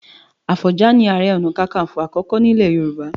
Àfọ̀njá ni Ààrẹ Ọ̀nà Kakaǹfò àkọ́kọ́ nílẹ̀ Yorùbá.